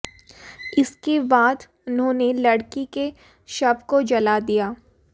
इसके बाद उन्होंने लड़की के शव को जला दिया